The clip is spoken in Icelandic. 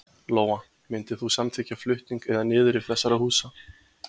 Lóa: Myndir þú samþykkja flutning eða niðurrif þessara húsa?